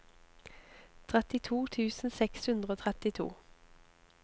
trettito tusen seks hundre og trettito